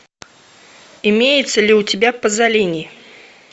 имеется ли у тебя пазолини